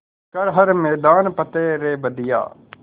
कर हर मैदान फ़तेह रे बंदेया